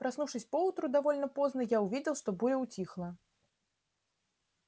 проснувшись поутру довольно поздно я увидел что буря утихла